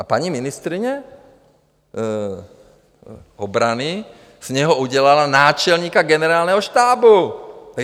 A paní ministryně obrany z něho udělala náčelníka generálního štábu!